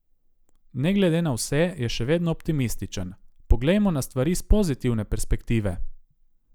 Ne glede na vse je še vedno optimističen: "Poglejmo na stvari s pozitivne perspektive.